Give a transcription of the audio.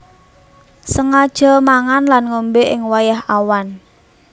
Sengaja mangan lan ngombé ing wayah awan